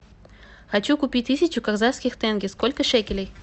хочу купить тысячу казахских тенге сколько шекелей